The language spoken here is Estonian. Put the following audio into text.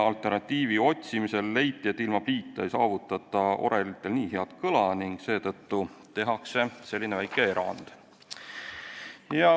Alternatiivi otsides leiti, et ilma pliita ei saavutata orelitel nii head kõla, ning seetõttu tehakse selline väike erand.